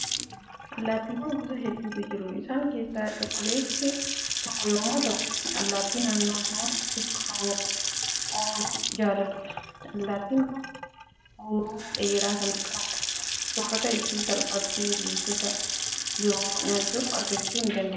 Allaattiiwwan gosa hedduutu jiru. Isaa keessaa cuquliinsi tokko yommuu taatu, allaattii naannoo loon tikfaman ooluu jaalattudha. Allaattiin kun huuruu dheeraa waan qabduuf, soorata ishii salphaatti ilbiisota biroo nyaachuun argachuu ni dandeessi.